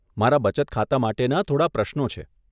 મારા બચત ખાતા માટેના થોડાં પ્રશ્નો છે.